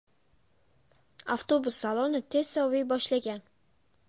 Avtobus saloni tez soviy boshlagan.